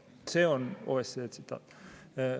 See on OSCE tsitaat.